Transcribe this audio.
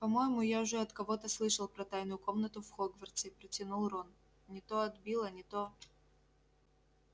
по-моему я уже от кого-то слышал про тайную комнату в хогвартсе протянул рон не то от билла не то